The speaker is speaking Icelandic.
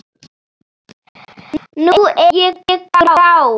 Nú er ég grár.